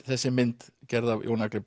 þessi mynd gerð af Jóni Agli